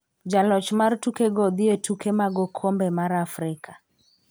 Jaloch mar tuke go dhiye tuke mag okombe mar Afrika